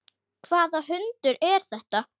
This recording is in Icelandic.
Hvaða hundur er þetta?